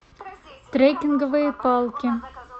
трекинговые палки